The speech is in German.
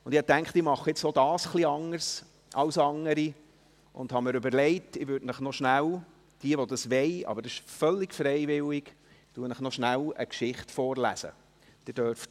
Ich dachte mir, ich mache nun auch dies ein wenig anders als andere, und habe mir überlegt, dass ich euch noch schnell – denjenigen, die das wollen, aber dies ist völlig freiwillig – eine Geschichte vorlesen würde.